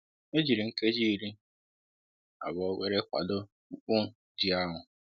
E jiri nkeji ịrị abụọ wéré kwado mkpu jì ahụ